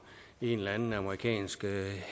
en eller anden amerikansk